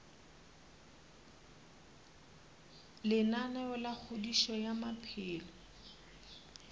lenaneo la kgodišo ya maphelo